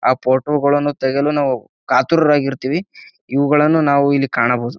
ಆಹ್ಹ್ photo ಗಳನ್ನು ತೆಗೆಯಲು ನಾವು ಕಾತುರರಾಗಿ ಇರ್ತೀವಿ. ಇವುಗಳನ್ನು ನಾವು ಇಲ್ಲಿ ಕಾಣಬಹುದು.